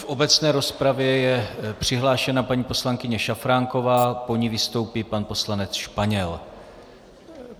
V obecné rozpravě je přihlášena paní poslankyně Šafránková, po ní vystoupí pan poslanec Španěl.